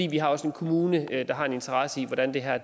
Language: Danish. vi har også en kommune der har en interesse i hvordan det her